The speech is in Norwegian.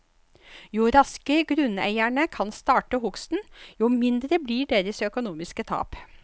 Jo raskere grunneierne kan starte hugsten, jo mindre blir deres økonomiske tap.